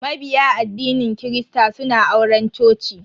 Mabiya addinin kirista suna auren coci.